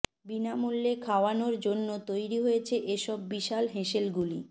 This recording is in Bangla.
বিনামূল্যে খাওয়ানোর জন্য তৈরি হয়েছে এ সব বিশাল হেঁশেলগুলি